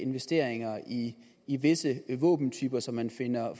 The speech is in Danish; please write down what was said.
investeringer i i visse våbentyper som man finder